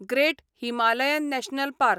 great Himalayan national park